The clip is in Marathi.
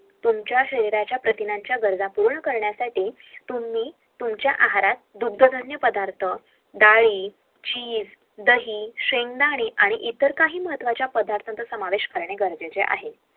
तुमच्या शरीयच्या प्रतिण्याच्या गरजा पूर्ण करण्यासाठी तुम्ही तुमच्या आहारात दुथ डाली दही हे जेवणात खाणे महत्वचे आहे